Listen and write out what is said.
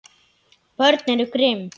Börn eru grimm.